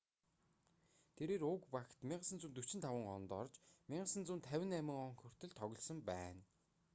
тэрээр уг багт 1945 онд орж 1958 он хүртэл тоглосон байна